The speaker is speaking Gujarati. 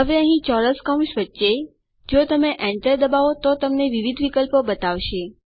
હવે અહીં ચોરસ કૌંસ વચ્ચે જો તમે Enter દબાવો તો તે તમને વિવિધ વિકલ્પો બતાવશે